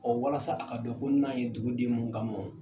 Ɔ walasa a ka dɔn ko n na ye duguden mun ka mɔ.